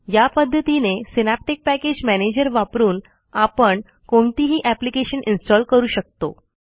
यापद्धतीने synaptic package manager वापरून आपण कोणतेही एप्लिकेशन इन्स्टॉल करू शकतो